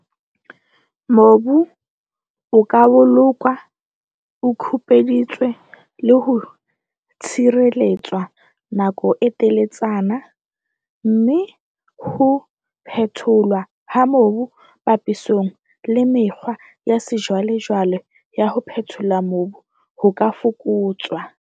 Mobu o ka bolokwa o kupeditswe le ho tshireletswa nako e teletsana, mme ho phetholwa ha mobu papisong le mekgwa ya sejwalejwale ya ho phethola mobu ho ka fokotswa.